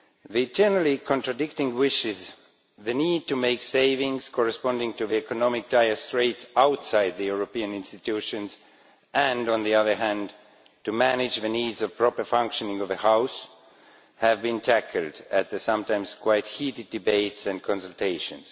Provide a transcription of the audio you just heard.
The generally contradicting wishes, the need to make savings corresponding to the economic dire straits outside the European institutions, and on the other hand to manage the needs of a properly functioning House have been tackled at the sometimes quite heated debates and consultations.